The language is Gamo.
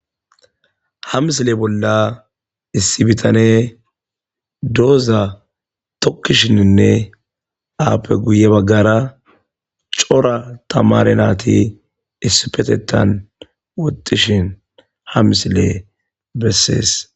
Ha misile bolla issi bithanee doozaa thikkishininne appe guyye baggaara cora thamaare naathi issippetheththan woxxishin ha misilee bessees.